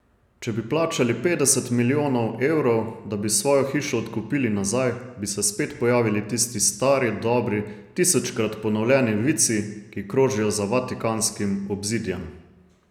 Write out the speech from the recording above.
Če bi plačali petdeset milijonov evrov, da bi svojo hišo odkupili nazaj, bi se spet pojavili tisti stari, dobri, tisočkrat ponovljeni vici, ki krožijo za vatikanskim obzidjem.